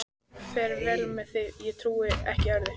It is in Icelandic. Fer vel með sig, ég trúi ekki öðru.